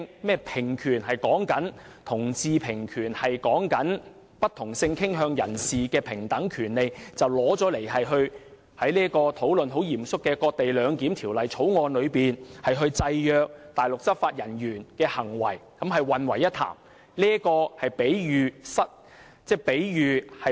所謂同志平權說的是不同性傾向人士的平等權利，他以此與現正很嚴肅地討論如何在"割地兩檢"《條例草案》中制約內地執法人員的行為混為一談，是比喻不倫。